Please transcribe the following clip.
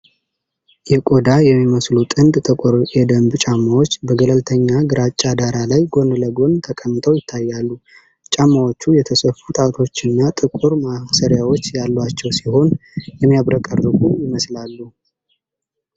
የቆዳ የሚመስሉ ጥንድ ጥቁር የደንብ ጫማዎች በገለልተኛ ግራጫ ዳራ ላይ ጎን ለጎን ተቀምጠው ይታያሉ። ጫማዎቹ የተሰፉ ጣቶችና ጥቁር ማሰሪያዎች ያሏቸው ሲሆን፣ የሚያብረቀርቁ ይመስላሉ።